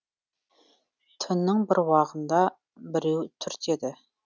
түннің бір уағында біреу түртеді